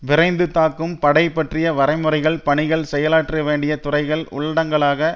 விரைந்து தாக்கும் படை பற்றிய வரையறைகள் பணிகள் செயலாற்றவேண்டிய துறைகள் உள்ளடங்கலாக